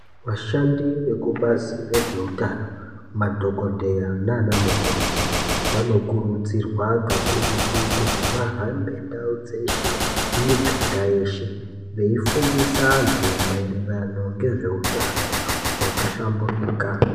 Vashandi vekubazi rezveutano madhokodheya nana mukoti vanokurudzirwa kakurutu kuti vahambe ndau dzeshe miganga yeshe veifundisa antu maererano nezveutano hwakahlamburika.